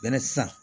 Bɛnɛ san